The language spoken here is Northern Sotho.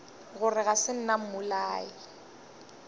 gore ga se nna mmolai